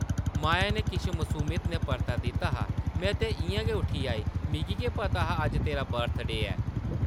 माया नै किश मसूमियत नै परता दित्ता हा, ‘‘में ते इʼयां गै उठी आई ;मिगी केह् पता हा अज्ज तेरा बर्थ-डे ऐ?’’